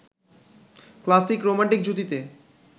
classic romantic জুটিতে